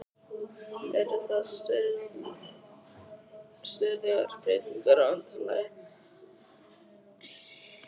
Eru það stöðugar breytingar á undirlagi?